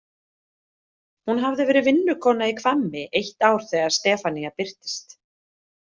Hún hafði verið vinnukona í Hvammi eitt ár þegar Stefanía birtist.